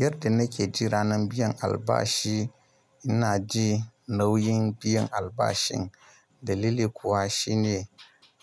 Yadda nake ji ranan biyan albashi, ina ji nauyin biyan albashin. Dalili kuwa shine